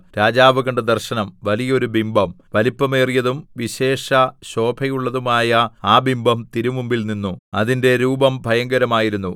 രാജാവു കണ്ട ദർശനം വലിയ ഒരു ബിംബം വലിപ്പമേറിയതും വിശേഷശോഭയുള്ളതുമായ ആ ബിംബം തിരുമുമ്പിൽ നിന്നു അതിന്റെ രൂപം ഭയങ്കരമായിരുന്നു